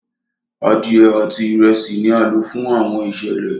Adiẹ ati Ìrẹsí ní a lo fún Àwọn iṣẹlẹ